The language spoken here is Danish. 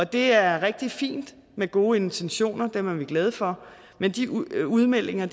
det er rigtig fint med gode intentioner dem er vi glade for men de udmeldinger